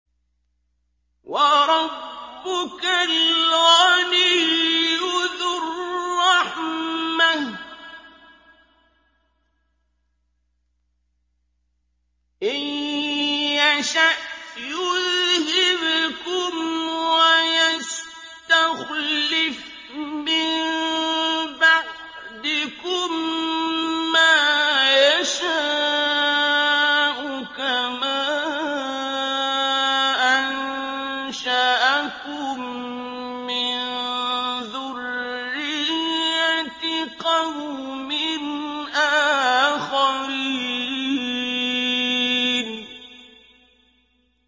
وَرَبُّكَ الْغَنِيُّ ذُو الرَّحْمَةِ ۚ إِن يَشَأْ يُذْهِبْكُمْ وَيَسْتَخْلِفْ مِن بَعْدِكُم مَّا يَشَاءُ كَمَا أَنشَأَكُم مِّن ذُرِّيَّةِ قَوْمٍ آخَرِينَ